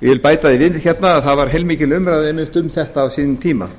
samanber hundrað tuttugasta og fimmtu grein ég vil bæta því við hérna að það var heilmikið umræða einmitt á sínum tíma þegar